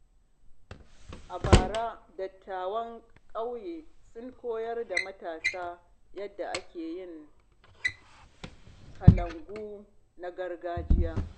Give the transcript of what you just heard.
A bara, dattawan ƙauye sun koyar da matasa yadda ake yin kalangu na gargajiya.